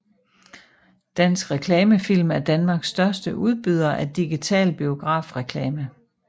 Dansk Reklame Film er Danmarks største udbyder af digital biografreklame